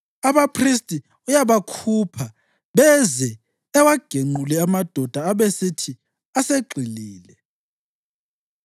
Abaphristi uyabakhupha beze awagenqule amadoda abesithi asegxilile.